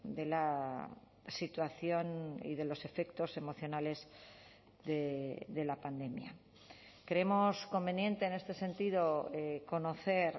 de la situación y de los efectos emocionales de la pandemia creemos conveniente en este sentido conocer